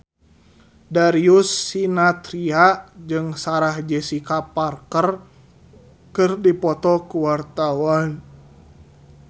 Darius Sinathrya jeung Sarah Jessica Parker keur dipoto ku wartawan